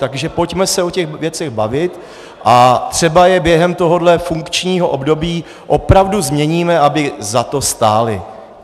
Takže pojďme se o těch věcech bavit a třeba je během tohoto funkčního období opravdu změníme, aby za to stály.